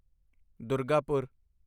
Durgapur